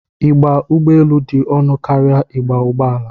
Ịgba ụgbọelu dị ọnụ karịa ịgba ụgbọala.